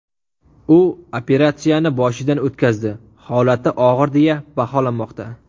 U operatsiyani boshidan o‘tkazdi, holati og‘ir deya baholanmoqda.